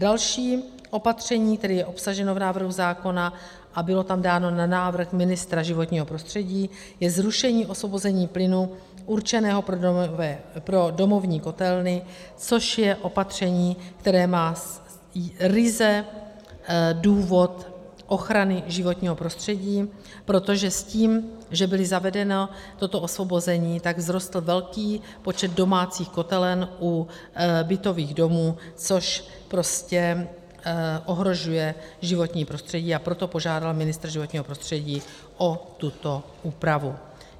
Další opatření, které je obsaženo v návrhu zákona a bylo tam dáno na návrh ministra životního prostředí, je zrušení osvobození plynu určeného pro domovní kotelny, což je opatření, které má ryze důvod ochrany životního prostředí, protože s tím, že bylo zavedeno toto osvobození, tak vzrostl velký počet domácích kotelen u bytových domů, což prostě ohrožuje životní prostředí, a proto požádal ministr životního prostředí o tuto úpravu.